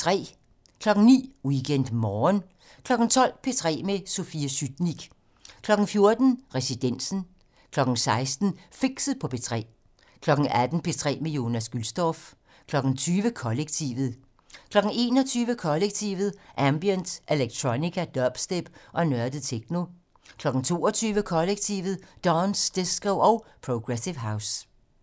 09:00: WeekendMorgen 12:00: P3 med Sofie Sytnik 14:00: Residensen 16:00: Fixet på P3 18:00: P3 med Jonas Gülstorff 20:00: Kollektivet 21:00: Kollektivet: Ambient, electronica, dubstep og nørdet techno 22:00: Kollektivet: Dance, disco og progressive house